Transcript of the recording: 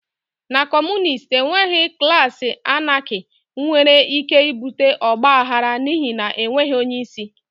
Na Kọmunist enweghị klaasị Anarchy nwere ike ibute ọgba aghara n'ihi na enweghị onye isi